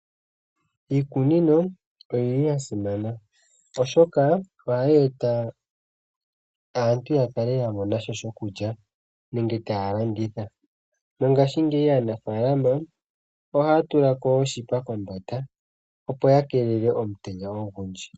Iikunino oya simana, oshoka ohayi eta aantu ya kale ya mona sha shokulya nenge taya landitha mongaashingeyi aanafalama ohaya tula ko oshipa kombanda opo ya keelele omutenya ogundji.